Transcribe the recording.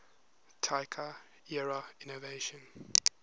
taika era innovation